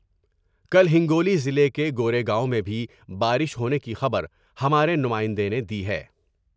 کل ہنگو لی ضلعے کے گورے گاؤں میں بھی بارش ہونے کی خبر ہمارے نمائندے نے دی ہے ۔